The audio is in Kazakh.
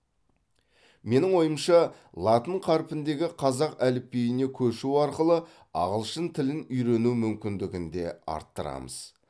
менің ойымша латын қарпіндегі қазақ әліпбиіне көшу арқылы ағылшын тілін үйрену мүмкіндігін де арттырамыз